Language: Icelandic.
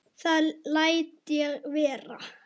Það læt ég vera